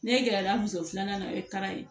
Ne gɛrɛla muso filanan na o ye taara ye